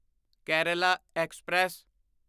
Kerala express